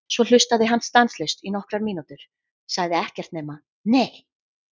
Svo hlustaði hann stanslaust í nokkrar mínútur, sagði ekkert nema: Nei!